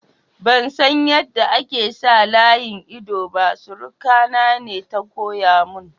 Ban san yada ake sa layin ido ba, suruka na ne ta koya mun.